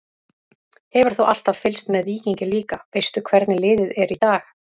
Hefur þú alltaf fylgst með Víkingi líka, veistu hvernig liðið er í dag?